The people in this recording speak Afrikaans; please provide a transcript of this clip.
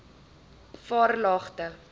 varelagte